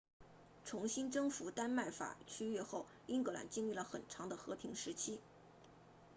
重新征服丹麦法区域 danelaw 后英格兰经历了很长的和平时期